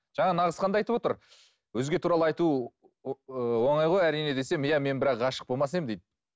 жаңа нағызхан да айтып отыр өзге туралы айту ы оңай ғой әрине десем иә бірақ мен ғашық болмас едім дейді